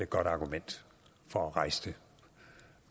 godt argument for at rejse det